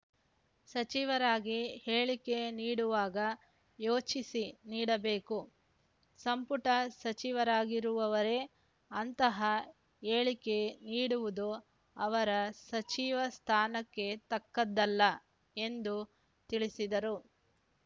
ಸಚಿವರಾಗಿ ಹೇಳಿಕೆ ನೀಡುವಾಗ ಯೋಚಿಸಿ ನೀಡಬೇಕು ಸಂಪುಟ ಸಚಿವರಾಗಿರುವವರೇ ಅಂತಹ ಹೇಳಿಕೆ ನೀಡಿವುದು ಅವರ ಸಚಿವ ಸ್ಥಾನಕ್ಕೆ ತಕ್ಕದ್ದಲ್ಲ ಎಂದು ತಿಳಿಸಿದರು